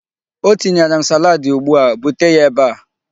Ọ tinyere m salaadi ugbu a. Bute ya ebe a!